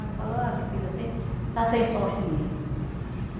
Ele falou, ah, minha filha, você está sem sorte mesmo.